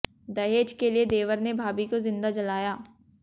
दहेज के लिए देवर ने भाभी को जिंदा जलाया